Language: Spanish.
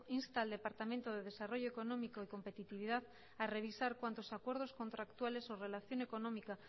insta al departamento de desarrollo económico y competitividad a revisar cuantos acuerdos contractuales o relación económica